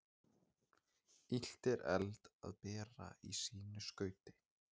Illt er eld að bera í sínu skauti.